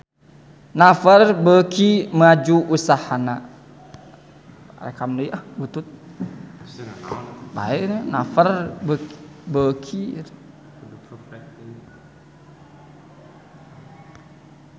Naver beuki maju usahana